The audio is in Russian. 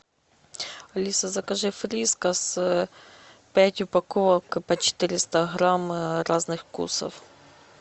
алиса закажи фрискас пять упаковок по четыреста грамм разных вкусов